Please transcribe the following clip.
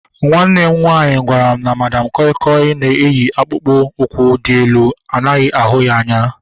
Nwanne m nwaanyị gwara m na Madam koi koi na-eyi akpụkpọ ụkwụ dị elu anaghị ahụ anya